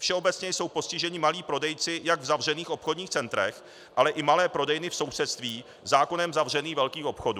Všeobecně jsou postiženi malí prodejci jak v zavřených obchodních centrech, ale i malé prodejny v sousedství zákonem zavřených velkých obchodů.